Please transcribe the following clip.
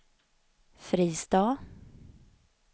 Fristad